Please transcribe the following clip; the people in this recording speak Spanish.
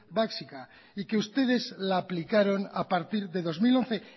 básica y que ustedes la aplicaron a partir de dos mil once